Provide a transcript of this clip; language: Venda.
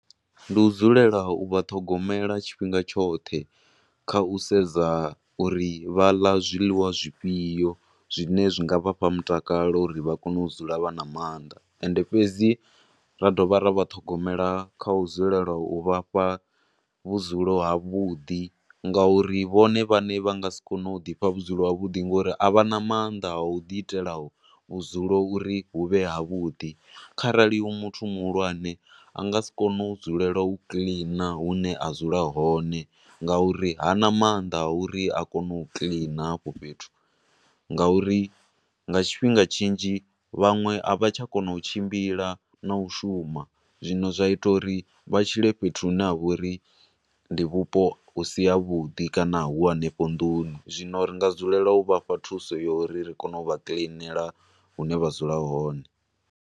Ndi u dzulela u vha ṱhogomela tshifhinga tshoṱhe kha u sedza uri vha ḽa zwiḽiwa zwi fhio, zwine zwi nga vhafha mutakalo uri kone u dzula vha na maanḓa, ende fhedzi ra dovha ra vha ṱhogomela kha u dzulela u vhafha vhudzulo ha vhuḓi, ngauri vhone vhaṋe vha nga sikone u ḓifha vhudzilo ha vhuḓi ngo uri avhana maanḓa a u ḓi itela vhudzulo uri hu vhe havhudi. Kharali hu muthu muhulwane, anga si kone u dzulela u kiḽina hune a dzula hone ngauri hana maanḓa a uri a kone u kiḽina hafho fhethu, nga uri nga tshifhinga tshinzhi, vhanwe a vha tsha kona u tshimbila na u shuma, zwino zwa ita uri vha tshile fhethu hune ha vha uri ndi vhupo hu si ha vhudi, kana hu hanefho nduni, zwino ri nga dzulela u vhafha thuso ya uri ri kone u vha kiḽinela hune vha dzula hone.